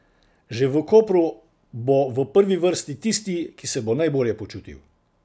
Že v Kopru bo v prvi vrsti tisti, ki se bo najbolje počutil.